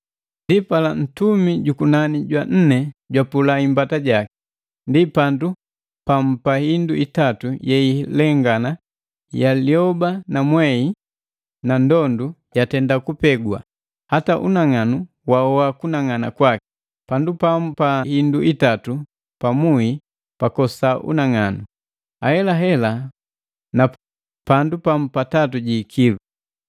Ndipala, ntumi jukunani jwa nne jwapula imbata jaki. Ndi pandu pamu pa indu itatu yeilengana ya lioba na mwei na ndondu yatenda kupegwa; hata unang'anu wahoa kunang'ana kwaki. Pandu pamu pa indu itatu pa muhi pakosa unang'anu, ahelahela na pandu pamu pa tatu ji ikilu.